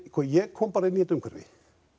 ég kom bara inn í þetta umhverfi